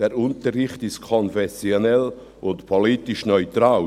Der Unterricht ist konfessionell und politisch neutral.